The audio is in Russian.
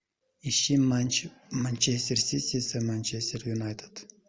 ищи матч манчестер сити с манчестер юнайтед